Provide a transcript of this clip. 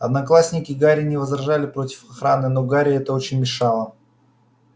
одноклассники гарри не возражали против охраны но гарри это очень мешало